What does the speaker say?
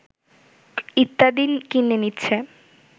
ইত্যাদি কিনে নিচ্ছে